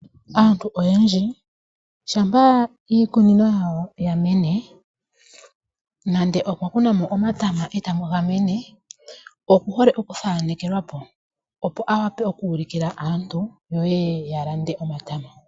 Aantu oyendji shampa iikunino yawo yamene, nande okwa kunamo omatama ndele taga mene okuhole okuthanekelwapo opo awape oku ulukila aantu yo yeye ya lande omatama.